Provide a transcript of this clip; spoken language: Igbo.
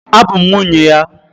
Abụ m nwunye ya